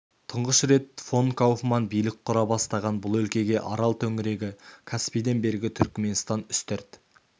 тұңғыш рет фон кауфман билік құра бастаған бұл өлкеге арал төңірегі каспийден бергі түрікменстан үстірт